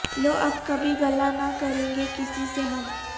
لو اب کبھی گلہ نہ کریں گے کسی سے ہم